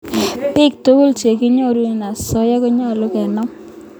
Piik tukul che kinyorune asoya konyolu kenam